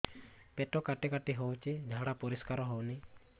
ପେଟ କାଟି କାଟି ହଉଚି ଝାଡା ପରିସ୍କାର ହଉନି